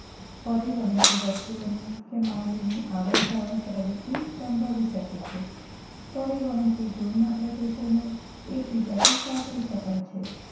પરિવહન થી વસ્તુઓની કે માનવી ની આવન જાવન પ્રવૃત્તિ સંભવિત શકે છે પરિવહન થી દૂર ના પ્રતિશો ને એક બીજા થી સાંકળી શકાય છે